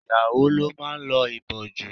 Ìyàwó ló máa ń lo ìbòjú.